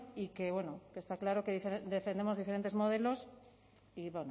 y que bueno que está claro que defendemos diferentes modelos y